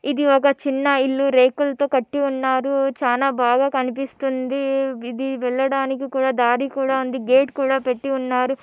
ఇది ఒక చిన్న ఇళ్లు రేకులతో కట్టి ఉన్నారు. చాన బాగా కనిపిస్తోంది. ఇది వెళ్లడానికి కూడా దారి కూడా ఉంది. గేట్ కూడా పెట్టి ఉన్నారు.